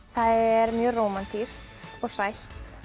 er mjög rómantískt og sætt